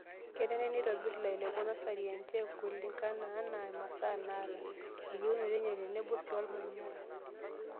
Kenare neitobir lairemok nasari enche kulingana anaa masaa naata, eyieunoto enye tenebo sii olmanyara.